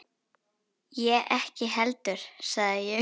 Ég ekki heldur sagði ég.